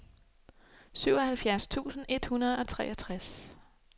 syvoghalvfjerds tusind et hundrede og treogtres